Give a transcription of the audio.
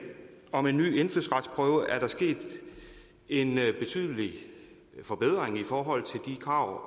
om en ny indfødsretsprøve er der sket en betydelig forbedring i forhold til de krav